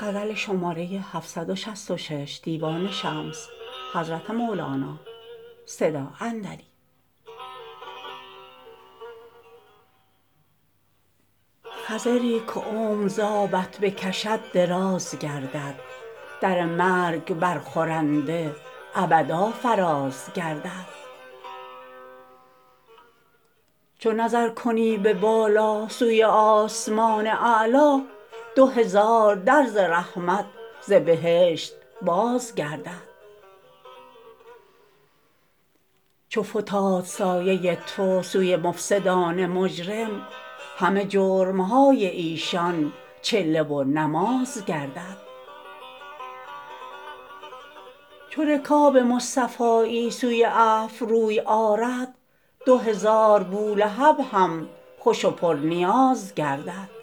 خضری که عمر ز آبت بکشد دراز گردد در مرگ برخورنده ابدا فراز گردد چو نظر کنی به بالا سوی آسمان اعلا دو هزار در ز رحمت ز بهشت باز گردد چو فتاد سایه تو سوی مفسد ان مجرم همه جرم های ایشان چله و نماز گردد چو رکاب مصطفایی سوی عفو روی آرد دو هزار بولهب هم خوش و پرنیاز گردد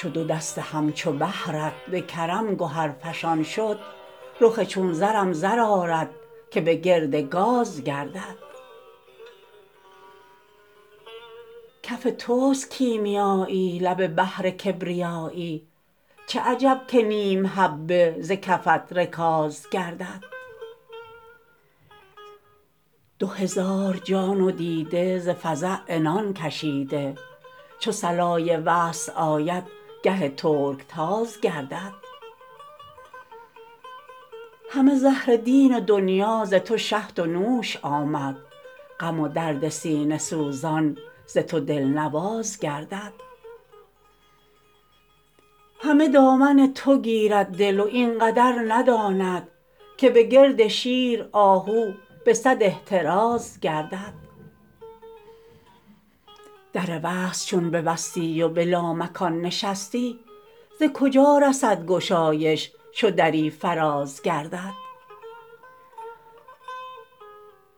چو دو دست همچو بحر ت به کرم گهرفشان شد رخ چون زرم زر آرد که به گرد گاز گردد کف توست کیمیا یی لب بحر کبریا یی چه عجب که نیم حبه ز کفت رکاز گردد دو هزار جان و دیده ز فزع عنان کشیده چو صلای وصل آید گه ترکتاز گردد همه زهر دین و دنیا ز تو شهد و نوش آمد غم و درد سینه سوزان ز تو دلنواز گردد همه دامن تو گیرد دل و این قدر نداند که به گرد شیر آهو به صد احتراز گردد در وصل چون ببستی و به لامکان نشستی ز کجا رسد گشایش چو دری فراز گردد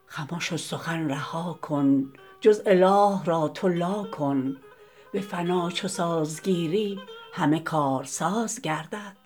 خمش و سخن رها کن جز اله را تو لا کن به فنا چو ساز گیری همه کارساز گردد